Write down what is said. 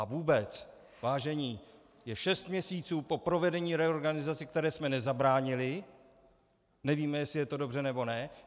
A vůbec, vážení, je šest měsíců po provedení reorganizace, které jsme nezabránili, nevíme, jestli je to dobře, nebo ne.